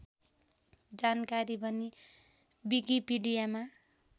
जानकारी पनि विकिपिडियामा